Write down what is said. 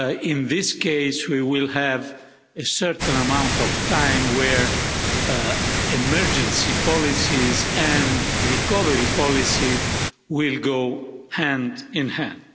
In this case, we will have a certain amount of time where emergency policies and recovery policy will go hand in hand.